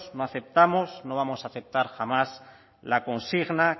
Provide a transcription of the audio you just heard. no aceptamos no vamos a aceptar jamás la consigna